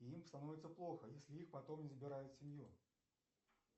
и им становится плохо если их потом не забирают в семью